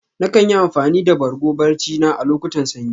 Na kan yi amfani da Bargo barci na a locutan sanyi.